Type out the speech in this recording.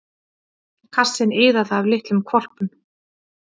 Kassinn iðaði af litlum hvolpum.